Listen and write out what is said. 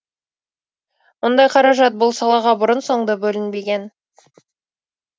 мұндай қаражат бұл салаға бұрын соңды бөлінбеген